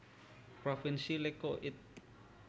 Provinsi Lecco It